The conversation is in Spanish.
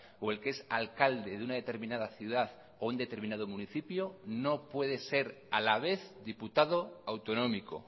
o el que es alcalde de una determinada ciudad o un determinado municipio no puede ser a la vez diputado autonómico